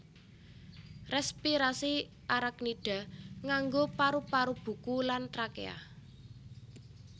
Rèspirasi Arachnida nganggo paru paru buku lan trakéa